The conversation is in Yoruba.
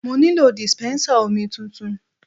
Mo nílò dispensa omi tuntun.